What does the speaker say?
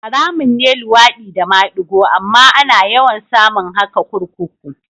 Haramun ne luwaɗi da madigo amma ana yawan samun haka kurkuku